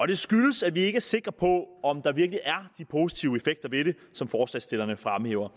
det skyldes at vi ikke er sikre på om der virkelig er de positive effekter ved det som forslagsstillerne fremhæver